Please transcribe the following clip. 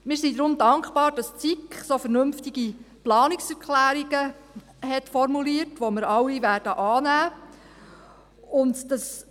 Wir sind deshalb dankbar, dass die SiK so vernünftige Planungserklärungen formuliert hat, die wir alle annehmen werden.